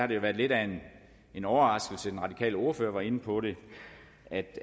det har været lidt af en overraskelse den radikale ordfører var inde på det